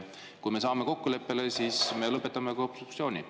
Kui me saame kokkuleppele, siis me lõpetame ka obstruktsiooni.